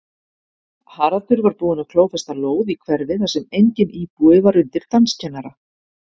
Haraldur var búinn að klófesta lóð í hverfi þar sem enginn íbúi var undir danskennara.